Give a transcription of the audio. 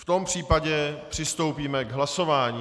V tom případě přistoupíme k hlasování.